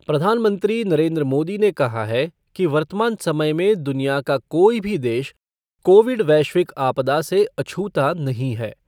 प्रधानमंत्री नरेंद्र मोदी ने कहा है कि वर्तमान समय में दुनिया का कोई भी देश कोविड वैश्विक आपदा से अछूता नहीं है।